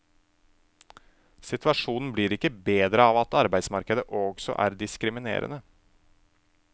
Situasjonen blir ikke bedre av at arbeidsmarkedet også er diskriminerende.